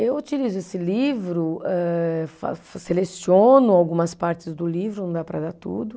Eu utilizo esse livro, eh fa seleciono algumas partes do livro, não dá para dar tudo.